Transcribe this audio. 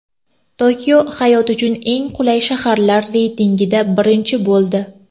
Tokio hayot uchun eng qulay shaharlar reytingida birinchi bo‘ldi.